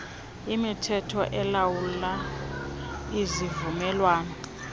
imithetho elawula izivumelwano